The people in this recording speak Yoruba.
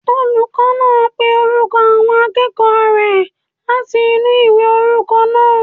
Olùkọ́ náà pé orúkọ àwọn akẹ́kọ̀ọ́ rẹ̀ láti inú ìwé orúkọ náà